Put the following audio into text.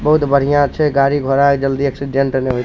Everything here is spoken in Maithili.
बहुत बढ़िया छे गाड़ी-घोड़ा जल्दी एक्सीडेंट नाय होय --